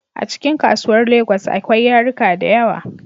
Acikin kasuwar lagos akwai yaruka dayawa